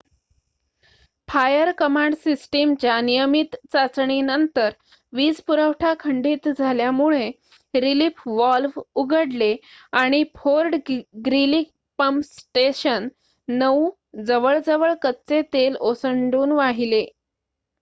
fire command सिस्टमच्या नियमित चाचणीनंतर वीज पुरवठा खंडीत झाल्यामुळे रीलिफ वॉल्व उघडले आणि फोर्ड ग्रीली पम्प स्टेशन ९ जवळ कच्चे तेल ओसंडून वाहिले